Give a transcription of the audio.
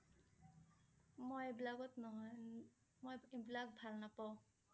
মই এইবিলাকত নহয় । ন~ন মই এইবিলাক ভাল নাপাওঁ।